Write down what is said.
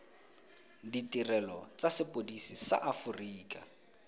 ditirelo tsa sepodisi sa aforika